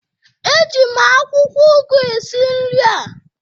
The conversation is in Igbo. Eji m akwụkwọ ụgụ esi nri a